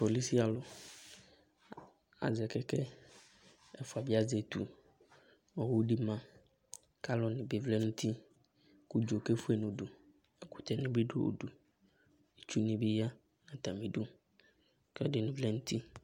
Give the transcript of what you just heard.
polici alʋ azɛ kɛkɛ, ɛfʋa bɩ azɛ etu, owu dɩ ma, kʋ alʋnɩ bɩ vlɛ nʋ uti, kʋ udzo kefue nʋ udu, ɛkʋtɛnɩ bɩ dʋ udu, itsunɩ bɩ ya nʋ atamɩ idu, kʋ ɛdɩnɩ vlɛ nʋ uti